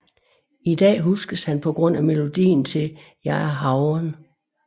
I dag huskes han på grund af melodien til Jeg er havren